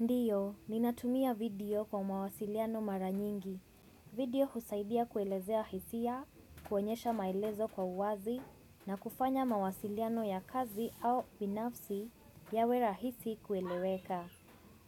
Ndiyo, ninatumia video kwa mawasiliano mara nyingi. Video husaidia kuelezea hisia, kuonyesha maelezo kwa uwazi na kufanya mawasiliano ya kazi au binafsi yawe rahisi kueleweka.